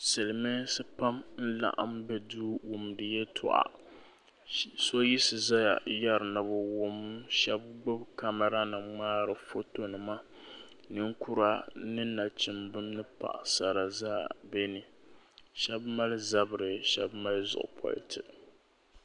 Silmiinsi pam n laɣim bɛ duu n wumdi yɛltɔɣa so yiɣisi zaya yara ni bi wum shɛba gbubi kamara nim ŋmaari foto nima ninkura ni nachimba ni paɣasara zaa bɛ ni shɛba mali zabiri shɛba mali zuɣu politi.